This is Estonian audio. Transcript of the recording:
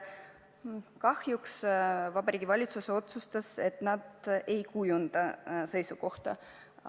Kahjuks Vabariigi Valitsus otsustas, et nad ei kujunda oma seisukohta.